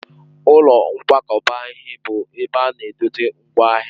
Ụlọ nkwakọba ihe bụ ebe ana edote ngwaahịa.